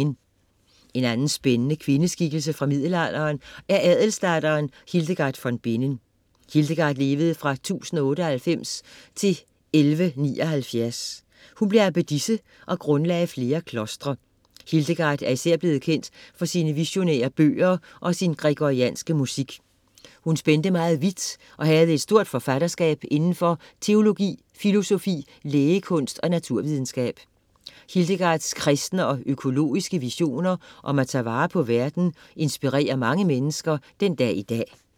En anden spændende kvindeskikkelse fra middelalderen er adelsdatteren Hildegard von Bingen. Hildegard levede fra 1098 til 1179. Hun blev abbedisse og grundlagde flere klostre. Hildegard er især blevet kendt for sine visionære bøger og sin gregorianske musik. Hun spændte meget vidt og havde et stort forfatterskab inden for teologi, filosofi, lægekunst og naturvidenskab. Hildegards kristne og økologiske visioner om at tage vare på verden inspirerer mange mennesker den dag i dag.